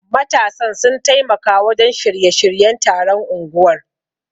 Matasan sun taimaka wajen shirya-shiryen taron unguwar.